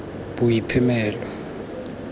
boiphemelo